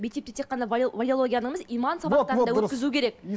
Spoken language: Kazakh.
мектепте тек қана валеология ғана емес иман сабақтарын да